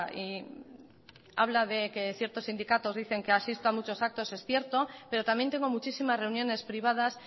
y habla de que ciertos sindicatos dicen que asisto a muchos actos es cierto pero también tengo muchísimas reuniones privadas